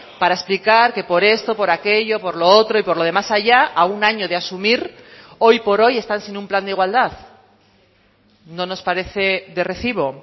para explicar que por esto por aquello por lo otro y por lo de más allá a un año de asumir hoy por hoy están sin un plan de igualdad no nos parece de recibo